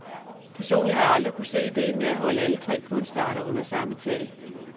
Personligt har jeg aldrig kunnet se idéen med at holde alle tre kunstarter under samme tag.